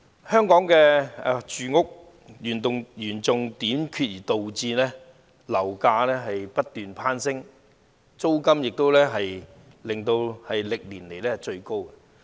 香港房屋嚴重短缺，導致樓價不斷攀升，租金亦是歷年最高。